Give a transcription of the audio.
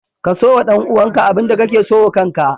Kaso wa ɗan uwanka abinda kake so wa kanka